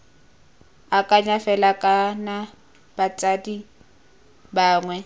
akanya fela kana batsadi bangwe